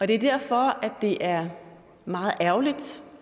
det er derfor det er meget ærgerligt